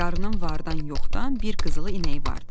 Qarının vardan-yoxdan bir qızılı inəyi vardı.